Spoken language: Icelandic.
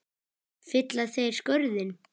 Fylla þeir skörðin?